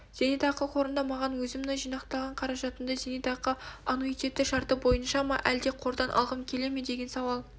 зейнетақы қорында маған өзімнің жинақталған қаражатымды зейнетақы аннуитеті шарты бойынша ма әлде қордан алғым келе ме деген сауал